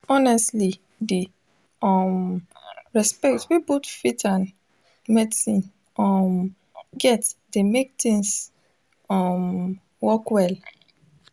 honestly di um respect wey both faith and medicine um get dey mek things um work well